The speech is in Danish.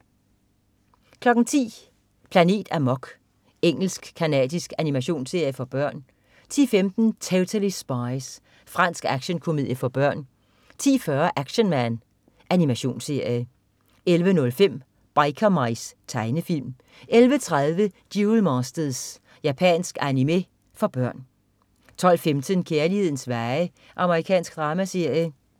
10.00 Planet Amok. Engelsk-canadisk animationsserie for børn 10.15 Totally Spies. Fransk action-komedie for børn 10.40 Action Man. Animationsserie 11.05 Biker Mice. Tegnefilm 11.30 Duel Masters. Japansk animé for børn 12.15 Kærlighedens veje. Amerikansk dramaserie